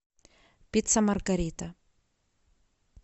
пицца маргарита